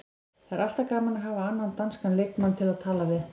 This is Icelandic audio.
Það er alltaf gaman að hafa annan danskan leikmann til að tala við.